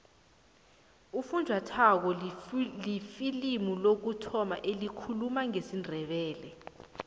ufunjathwako lifilimu lokuthoma elikhuluma ngesindebele